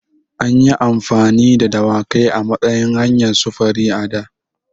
An yi amfani da dawakai a matsayin hanyar sufuri a da.